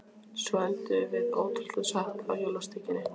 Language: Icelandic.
Svo endum við, ótrúlegt en satt, á jólasteikinni.